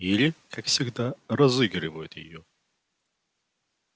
или как всегда разыгрывают её